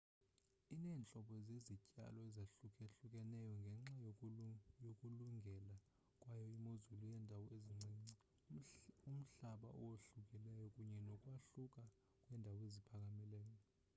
ineentlobo zezityalo ezahlukahlukeneyo ngenxa yokulungela kwayo imozulu yeendawo ezincinci umhlaba owahlukileyo kunye nokwahluka kweendawo eziphakamileyo